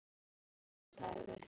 Á hliðinni á bílastæði